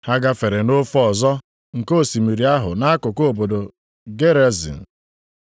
Ha gafere nʼofe ọzọ nke osimiri ahụ nʼakụkụ obodo Gerazin. + 5:1 Nʼakwụkwọ ochie ụfọdụ, ị nwere ike hụ Gadarin.